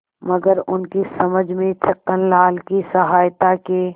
मगर उनकी समझ में छक्कनलाल की सहायता के